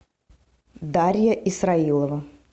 дарья исраилова